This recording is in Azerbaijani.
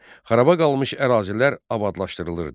Xaraba qalmış ərazilər abadlaşdırılırdı.